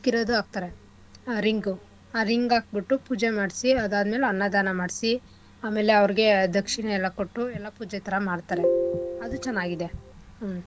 ಹಾಕ್ತಾರೆ ಆ ring ಉ ಆ ring ಹಾಕ್ಬುಟ್ಟು ಪೂಜೆ ಮಾಡ್ಸಿ ಅದಾದ್ಮೇಲ್ ಅನ್ನ ದಾನ ಮಾಡ್ಸಿ ಆಮೇಲೆ ಅವ್ರ್ಗೆ ಆ ದಕ್ಷಿಣೆ ಎಲ್ಲ ಕೊಟ್ಟು ಎಲ್ಲ ಪೂಜೆ ಥರಾ ಮಾಡ್ತಾರೆ ಅದು ಚೆನ್ನಾಗಿದೆ ಹ್ಮ್ಂ.